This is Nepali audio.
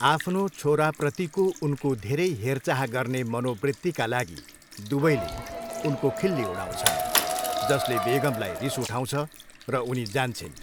आफ्नो छोराप्रतिको उनको धेरै हेरचाह गर्ने मनोवृत्तिका लागि दुवैले उनको खिल्ली उडाउँछन् जसले बेगमलाई रिस उठाउँछ र उनी जान्छिन्।